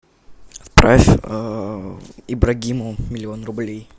отправь ибрагиму миллион рублей